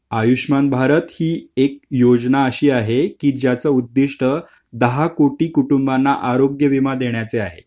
आयुष्यमान भारत हि एक योजना अशी आहे कि ज्याचं उद्धिष्ट दहा कोटी कुटूंबाना आरोग्य विमा देण्याचं आहे .